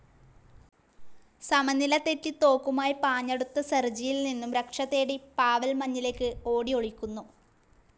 സമനില തെറ്റി തോക്കുമായി പാഞ്ഞടുത്ത സെർജിയിൽ നിന്നും രക്ഷതേടി പാവെൽ മഞ്ഞിലേക്ക് ഓടിഒളിക്കുന്നു.